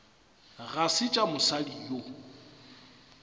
ga se tša mosadi yo